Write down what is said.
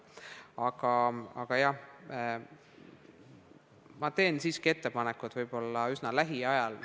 Aga ma teen siiski ettepanekud võib-olla üsna lähiajal.